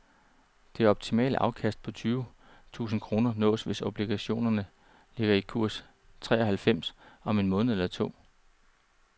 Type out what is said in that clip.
Det optimale afkast på tyve tusinde kroner nås, hvis obligationerne ligger i kurs treoghalvfems om en måned eller to.